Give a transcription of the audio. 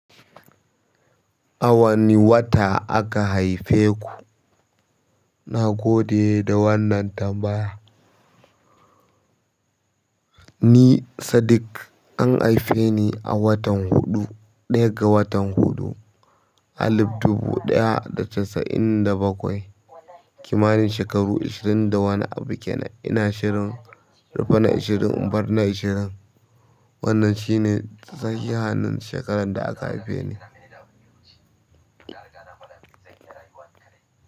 A wane wata aka haife ku? Na gode da wannan tambaya. Ni Sadik an haife ni a watan huɗu, ɗaya ga watan huɗu alif dubu ɗaya da casa'in da bakwai, kimanin shekaru ishirin da wani abu kenan ina shirin rufe na ishirin in bar na ishirin. Wannan shine sahihan shekarar da aka haife ni.